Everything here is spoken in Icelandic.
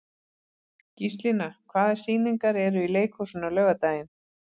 Gíslína, hvaða sýningar eru í leikhúsinu á laugardaginn?